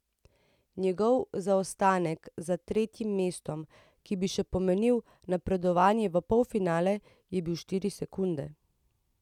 Njegov zaostanek za tretjim mestom, ki bi še pomenil napredovanje v polfinale, je bil štiri sekunde.